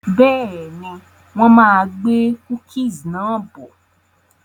Bẹ́ẹ̀ni, wọn máa gbé "cookies" náà bọ̀.